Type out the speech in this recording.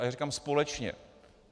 A já říkám - společně.